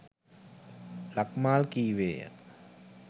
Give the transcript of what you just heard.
ලක්මාල් කීවේය.